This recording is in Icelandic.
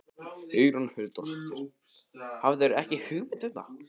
Hugrún Halldórsdóttir: Hafðirðu ekki hugmynd um það?